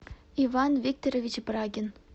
иван викторович брагин